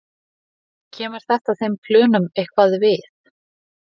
Kemur þetta þeim plönum eitthvað við?